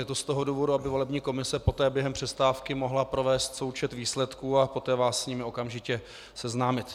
Je to z toho důvodu, aby volební komise poté během přestávky mohla provést součet výsledků a poté vás s nimi okamžitě seznámit.